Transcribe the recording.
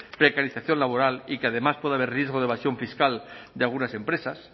precarización laboral y que además puede haber riesgo de evasión fiscal de algunas empresas